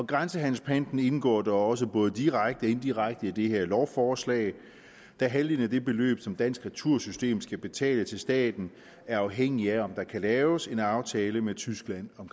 grænsehandelspanten indgår da også både direkte og indirekte i det her lovforslag da halvdelen af det beløb som dansk retursystem skal betale til staten er afhængigt af om der kan laves en aftale med tyskland om